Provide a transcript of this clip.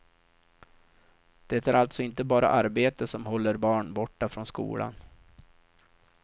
Det är alltså inte bara arbete som håller barn borta från skolan.